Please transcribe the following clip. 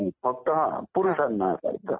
फक्त पुरुषांना असायचा